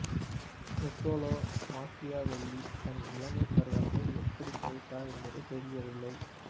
Nicolas Machiavelli தன் இளமைப் பருவத்தை எப்படிக் கழித்தார் என்பது தெரியவில்லை